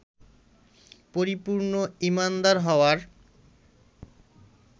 পরিপূর্ণ ঈমানদার হওয়ার